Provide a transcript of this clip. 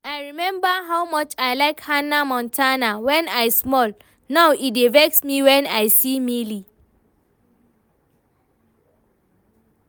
I remember how much I like Hanna Montana when I small, now e dey vex me when I see Miley